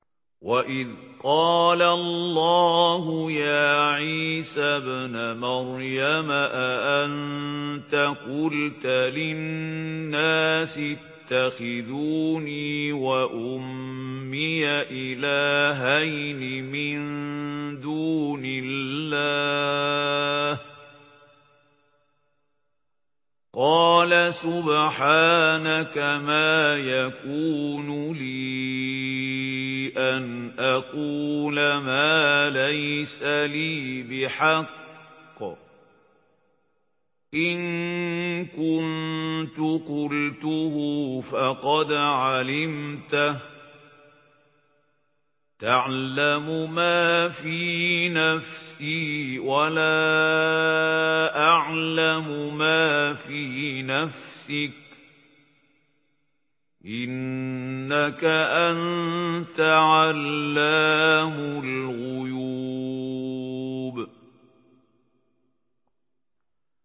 وَإِذْ قَالَ اللَّهُ يَا عِيسَى ابْنَ مَرْيَمَ أَأَنتَ قُلْتَ لِلنَّاسِ اتَّخِذُونِي وَأُمِّيَ إِلَٰهَيْنِ مِن دُونِ اللَّهِ ۖ قَالَ سُبْحَانَكَ مَا يَكُونُ لِي أَنْ أَقُولَ مَا لَيْسَ لِي بِحَقٍّ ۚ إِن كُنتُ قُلْتُهُ فَقَدْ عَلِمْتَهُ ۚ تَعْلَمُ مَا فِي نَفْسِي وَلَا أَعْلَمُ مَا فِي نَفْسِكَ ۚ إِنَّكَ أَنتَ عَلَّامُ الْغُيُوبِ